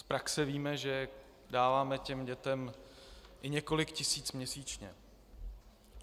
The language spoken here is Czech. Z praxe víme, že dáváme těm dětem i několik tisíc měsíčně.